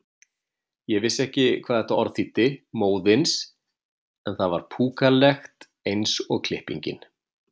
Ég vissi ekki hvað þetta orð þýddi, móðins, en það var púkalegt eins og klippingin.